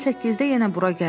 Mən səkkizdə yenə bura gələrəm.